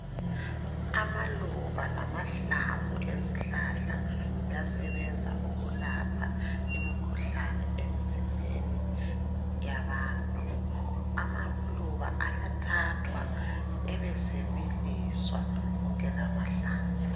Amaluba lamahlamvu ezihlahla kuyasebenza ukulapha imikhuhlane emzimbeni yabantu, amaluba ayathathwa ebesebiliswa konke lamahlamvu.